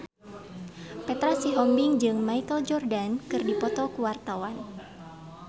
Petra Sihombing jeung Michael Jordan keur dipoto ku wartawan